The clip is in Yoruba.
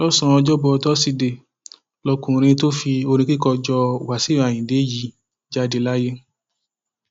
lọsànán ọjọbọ tọsídee lọkùnrin tó fi orin kíkọ jọ wáṣíù ayíǹde yìí jáde láyé